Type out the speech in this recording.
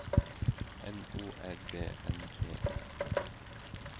N O R D N E S